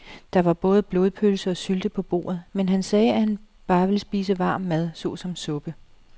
Der var både blodpølse og sylte på bordet, men han sagde, at han bare ville spise varm mad såsom suppe.